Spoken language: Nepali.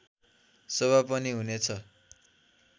शोभा पनि हुनेछ